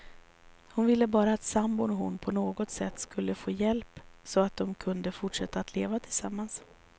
Hon ville bara att sambon och hon på något sätt skulle få hjälp, så att de kunde fortsätta att leva tillsammans.